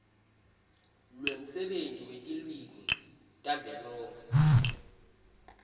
lwemsebenti wetilwimi tavelonkhe